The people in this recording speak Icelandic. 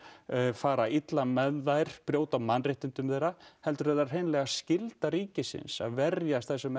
fara illa með þær brjóta á mannréttindum þeirra heldur er það hreinlega skylda ríkisins að verjast þessum